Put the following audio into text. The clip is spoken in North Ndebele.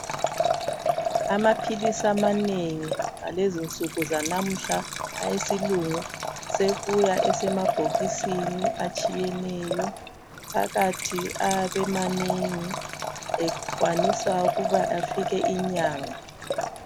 Amaphilisamanengi ngalezinsuku zanamuhla awesilungu sebuya esemabhokisini atshiyeneyo, phakathi ayabemanengi ekwanisa ukuba afike inyanga.